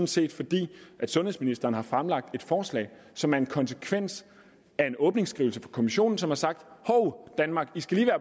set fordi sundhedsministeren har fremsat et forslag som er en konsekvens af en åbningsskrivelse fra kommissionen som har sagt hov danmark i skal